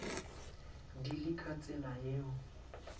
di le ka tsela yeo